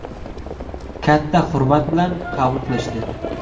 Katta hurmat bilan qabul qilishdi.